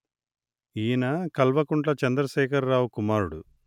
ఈన కల్వకుంట్ల చంద్రశేఖరరావు కుమారుడు